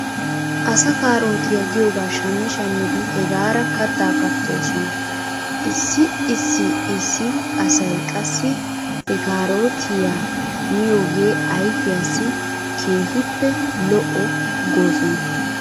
Asa kaarootiyaa giyoogaa shammi shammidi hegaara kattaa kattoosona. Issi issi issi asay qassi he kaarootiyaa miyoogee ayfiyaassi keehippe lo'o goosona.